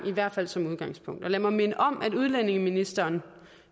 i hvert fald som udgangspunkt og lad mig minde om at udlændingeministeren